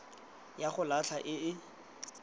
ya go latlha e e